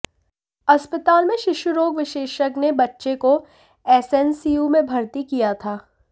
अस्पताल में शिशु रोग विशेषज्ञ ने बच्चे को एसएनसीयू में भर्ती किया था